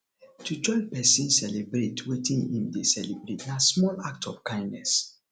to join persin celebrate wetin im de celebrate na small act of kindness